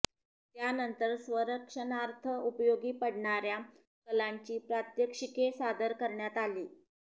त्यानंतर स्वसंरक्षणार्थ उपयोगी पडणाऱया कलांची प्रात्याक्षिके सादर करण्यात आली